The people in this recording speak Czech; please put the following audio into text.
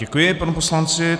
Děkuji panu poslanci.